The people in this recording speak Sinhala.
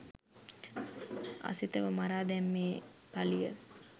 අසිතව මරා දැමීමේ පලිය